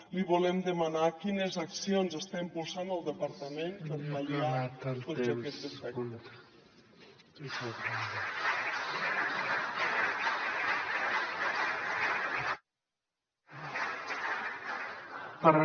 li volem demanar quines accions està impulsant el departament per pal·liar tots aquests efectes